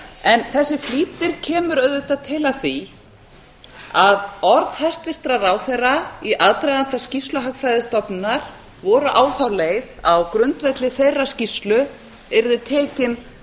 en þessi flýtir kemur auðvitað til af því að orð hæstvirtra ráðherra í aðdraganda skýrslu hagfræðistofnunar voru á þá leið að á grundvelli þeirrar skýrslu yrði tekin